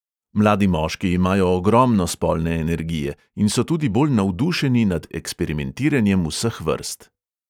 Mladi moški imajo ogromno spolne energije in so tudi bolj navdušeni nad eksperimentiranjem vseh vrst.